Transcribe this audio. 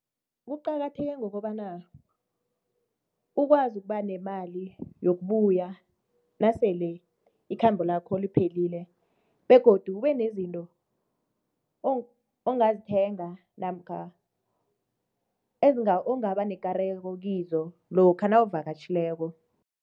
Kuqakatheke ngokobana ukwazi ukuba nemali yokubuya nasele ikhambo lakho liphelile begodu kube nezinto ongazithenga namkha ongaba nekareko kizo lokha nawuvakatjhileko.